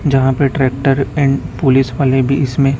जहां पे tractor and police वाले भी इसमें--